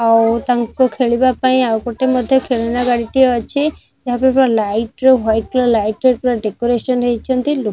ଆଉ ତାଙ୍କୁ ଖେଳିବା ପାଇଁ ଆଉ ଗୋଟେ ମଧ୍ୟ ଖେଳନା ଗାଡ଼ିଟିଏ ଅଛି ଏହା ଉପରେ ପୁରା ଲାଇଟ୍ ର ୱାଇଟ୍ ର ଲାଇଟ୍ ର ଡେକୋରେଶନ ହେଇଚନ୍ତି ଲୋକ --